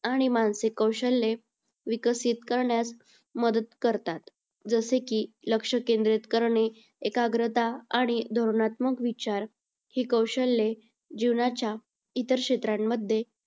आणि मानसिक कौशल्ये विकसित करण्यास मदत करतात. जसे की लक्ष केंद्रित करणे, एकाग्रता आणि धोरणात्मक विचार ही कौशल्ये जीवनाच्या इतर क्षेत्रांमध्ये